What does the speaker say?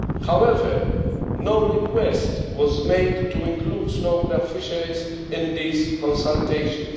However, no request was made to include snow crab fisheries in these consultations.